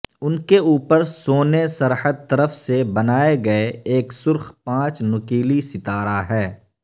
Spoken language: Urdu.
ان کے اوپر سونے سرحد طرف سے بنائے گئے ایک سرخ پانچ نکیلی ستارہ ہے